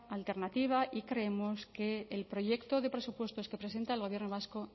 alternativa y creemos que el proyecto de presupuestos que presenta el gobierno vasco